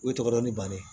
O ye tɔgɔ dɔnni bannen ye